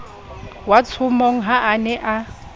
watshomong ha a ne a